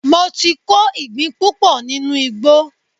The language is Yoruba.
Mo ti kó ìgbín púpọ̀ nínú ìgbó